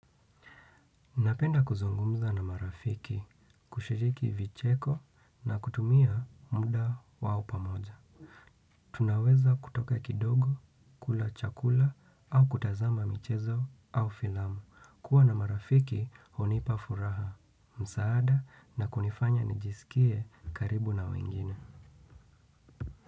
Napenda kuzungumza na marafiki, kushiriki vicheko na kutumia muda wao pamoja. Tunaweza kutoka kidogo, kula chakula au kutazama michezo au filamu. Kuwa na marafiki hunipa furaha, msaada na kunifanya nijisikie karibu na wengine.